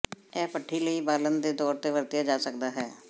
ਇਹ ਭੱਠੀ ਲਈ ਬਾਲਣ ਦੇ ਤੌਰ ਤੇ ਵਰਤਿਆ ਜਾ ਸਕਦਾ ਹੈ